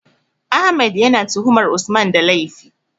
Ahmed ya na tuhumar Usman da laifi